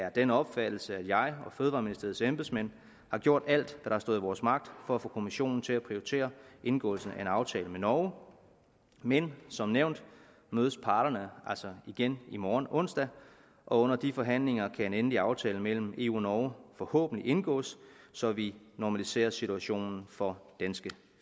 af den opfattelse at jeg og fødevareministeriets embedsmænd har gjort alt hvad der har stået i vores magt for at få kommissionen til at prioritere indgåelsen af en aftale med norge men som nævnt mødes parterne altså igen i morgen onsdag og under de forhandlinger kan en endelig aftale mellem eu og norge forhåbentlig indgås så vi normaliserer situationen for danske